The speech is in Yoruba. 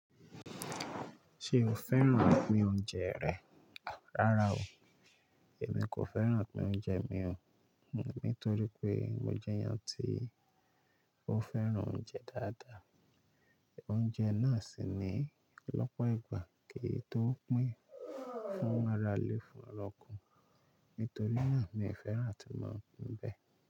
Ṣé mo fẹ́ràn pín oúnjẹ rẹ̀? Rárá o, èmi kò fẹ́ràn pín oúnjẹ mi o. Nítorí pé mo jẹ́ ẹyan tí ó fẹ́ràn oúnjẹ dáadáa. Oúnjẹ náà sì ní lọ́pọ̀ ìgbà kìí tó pín fún ára ilé fún ará ọ́ko. Nítorí náà ni ìfẹ́ ràn tí mò ń bẹ.